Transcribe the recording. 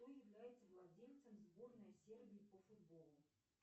кто является владельцем сборной сербии по футболу